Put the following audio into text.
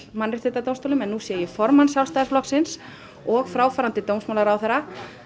Mannréttindadómstólnum en nú sé ég formann Sjálfstæðisflokksins og fráfarandi dómsmálaráðherra